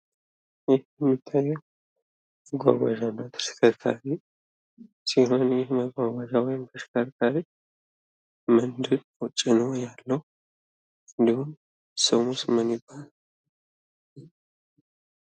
ይህ የሚታየ መጓጓሻ ወይም ተሽከርካሪ ሲሆን እና ይህ መጓጓዣ ወይም ተሽከርካሪ ምንድን ነው ጭኖ ያለው? እንዲሁም ስሙስ ምን ይባላል?